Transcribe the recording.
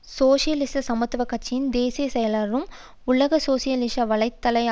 சோசியலிச சமத்துவ கட்சியின் தேசிய செயலாளரும் உலக சோசியலிச வலை தள